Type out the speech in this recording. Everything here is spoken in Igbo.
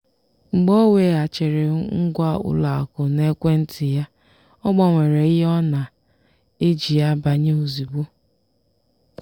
mgbe ọ weghachiri ngwa ụlọakụ n'ekwentị ya ọ gbanwere ihe ọ na-eji banye ozugbo.